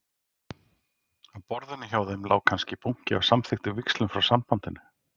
Á borðinu hjá þeim lá kannski bunki af samþykktum víxlum frá Sambandinu.